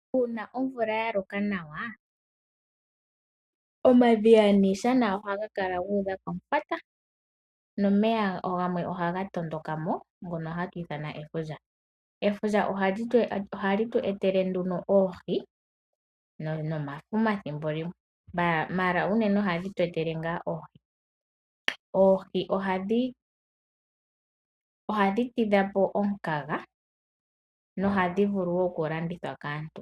Uuna omvula ya loka nawa, omadhiya niishana oha ga kala guudha komufwata! Nomeya gamwe oha ga tondoka mo ngono ha tu ithana efundja. Efundja oha li tu etele nduno oohi nomafuma thimbo limwe, ashike unene oha dhi tu etele ngaa oohi. Oohi oha dhi tidha po omukaga noha dhi vulu wo okulandithwa kaantu.